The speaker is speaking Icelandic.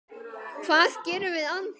Hvað gerum við án þín?